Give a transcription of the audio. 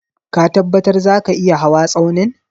Ka tabbatar zaka iya hawa Tsaunin?